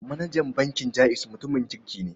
Manajan bankin Jaiz mutumin kirki ne.